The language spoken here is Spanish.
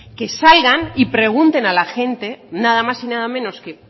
que salgan y pregunten a la gente nada más y nada menos que